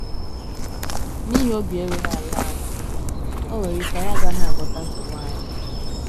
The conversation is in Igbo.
N’ihi obi erughị ala anyị, o nwere ike anyị agaghị agwọta nsogbu anyị.